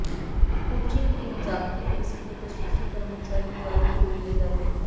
coaching एक जागतिक प्रसिद्ध प्रशिक्षण कर्मचारी द्वारे पुरविले जाते